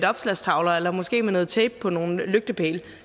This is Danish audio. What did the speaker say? opslagstavler eller måske med noget tape på nogle lygtepæle